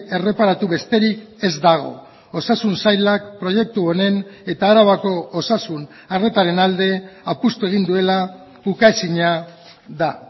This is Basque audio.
erreparatu besterik ez dago osasun sailak proiektu honen eta arabako osasun arretaren alde apustu egin duela ukaezina da